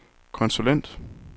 konsulent